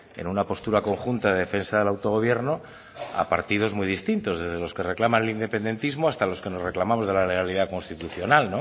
en una postura conjunta de defensa del autogobierno a partidos muy distintos desde los que reclaman el independentismo hasta los que nos reclamamos de la legalidad constitucional